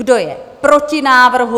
Kdo je proti návrhu?